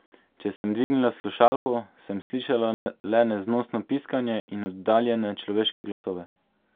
Če sem dvignila slušalko, sem slišala le neznosno piskanje in oddaljene človeške glasove.